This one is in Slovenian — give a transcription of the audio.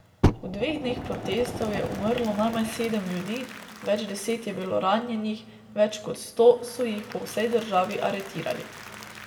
V dveh dneh protestov je umrlo najmanj sedem ljudi, več deset je bilo ranjenih, več kot sto so jih po vsej državi aretirali.